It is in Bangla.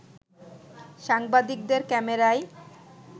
সাংবাদিকদের ক্যামেরায়